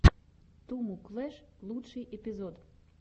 туму клэш лучший эпизод